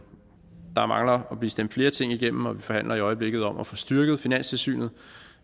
der mangler at blive stemt flere ting igennem og vi forhandler i øjeblikket om at få styrket finanstilsynet